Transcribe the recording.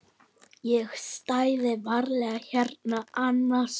Ég stæði varla hérna annars.